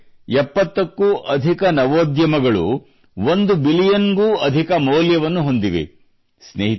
ಅಂದರೆ 70ಕ್ಕೂ ಅಧಿಕ ನವೋದ್ಯಮಗಳು 1 ಬಿಲಿಯನ್ ಡಾಲರ್ ಗೂ ಅಧಿಕ ಮೌಲ್ಯವನ್ನು ಹೊಂದಿವೆ